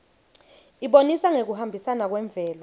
ibonisa ngekuhambisana kwemvelo